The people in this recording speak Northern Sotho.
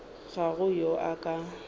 ga go yo a ka